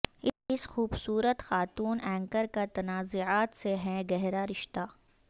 اس خوبصورت خاتون اینکر کا تنازعات سے ہے گہرا رشتہ